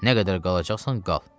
Nə qədər qalacaqsan, qal.